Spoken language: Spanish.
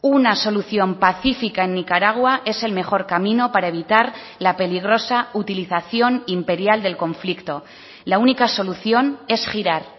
una solución pacífica en nicaragua es el mejor camino para evitar la peligrosa utilización imperial del conflicto la única solución es girar